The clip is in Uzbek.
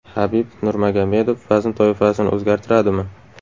Habib Nurmagomedov vazn toifasini o‘zgartiradimi?